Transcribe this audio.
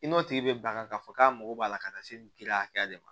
I n'o tigi bɛ ban k'a fɔ k'a mago b'a la ka se nin kiriya hakɛya de ma